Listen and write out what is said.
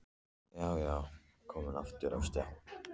Já, já, komin aftur á stjá!